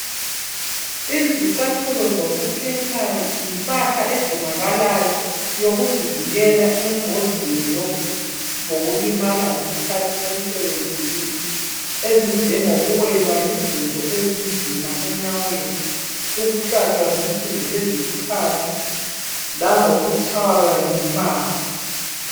Izicathulo zokuphepha yimpahla edingakalayo yokuzivikela engozini zokulimala ngesikahathi semsebenzini ezinjengokuwelwa yizinto ezinzima enyaweni, ukuhlatshwa zinsimbi ezibukhali lalokuhlatshwa zinsimbi ezibukhali langokutshaywa ngumbane.